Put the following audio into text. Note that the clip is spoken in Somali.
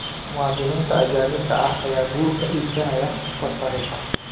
Muwaadiniinta Ajaanibka ah ayaa guur ka iibsanaya Costa Rica